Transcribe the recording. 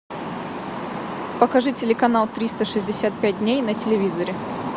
покажи телеканал триста шестьдесят пять дней на телевизоре